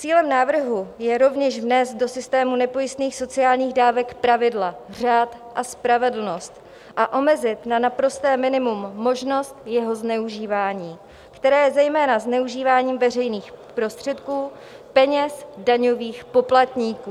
Cílem návrhu je rovněž vnést do systému nepojistných sociálních dávek pravidla, řád a spravedlnost a omezit na naprosté minimum možnost jeho zneužívání, které je zejména zneužíváním veřejných prostředků, peněz daňových poplatníků.